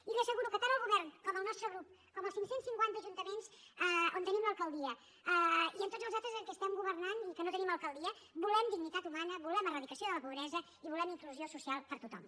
i li asseguro que tant el govern com el nostre grup com els cinc cents i cinquanta ajuntaments on tenim l’alcaldia i tots els altres en què estem governant i no hi tenim alcaldia volem dignitat humana volem eradicació de la pobresa i volem inclusió social per a tothom